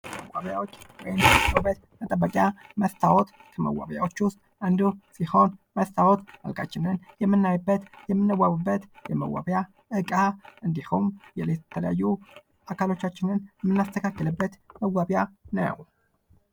መዌቢያዎች ወይም የዉበት መጠበቂያ መስታወት ከመዋቢያዎች ዉስጥ አንዱ ሲሆን መስታወት መልካችንን የምናይበት የምንዋብበት የመዋቢያ እቃ እንዲሁም የተለያዩ አካሎቻችንን የምናስተካክልበት መዋቢያ ነዉ።